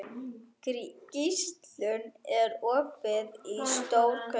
Gíslunn, er opið í Stórkaup?